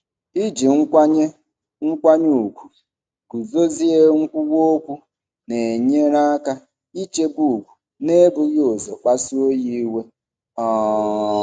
Iji nkwanye nkwanye ùgwù guzozie nkwuwa okwu na-enyere aka ichebe ugwu n'ebughị ụzọ kpasuo ya iwe. um